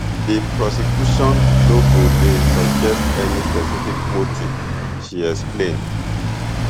di prosecution no go dey suggest any specific motive she explain